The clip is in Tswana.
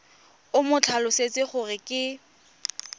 o mo tlhalosetse gore ke